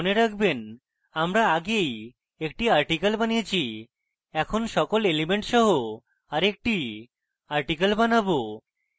মনে রাখবেন আমরা আগেই একটি article বানিয়েছি এখন সকল elements সহ আরেকটি article বানাবো